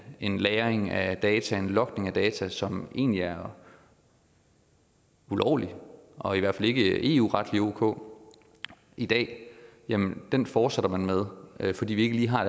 en lagring af data en logning af data som egentlig er ulovlig og i hvert fald ikke eu retligt er ok i dag men den fortsætter man med fordi vi ikke lige har